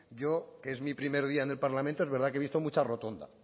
yo que es mi primer día en el parlamento es verdad que he visto mucha rotonda